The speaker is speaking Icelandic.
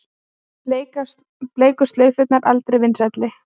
Bleiku slaufurnar aldrei vinsælli